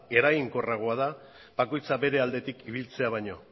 eraginkorragoa da bakoitzak bere aldetik ibiltzea baino